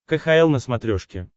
кхл на смотрешке